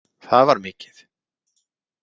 Það var mikið!